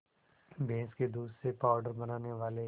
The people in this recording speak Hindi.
भैंस के दूध से पावडर बनाने वाले